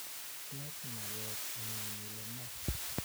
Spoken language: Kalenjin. teb maget ngu'ng ile ne